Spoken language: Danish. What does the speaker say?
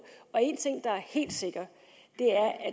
én ting der er helt sikker er at